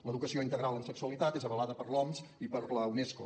l’educació integral en sexualitat és avalada per l’oms i per la unesco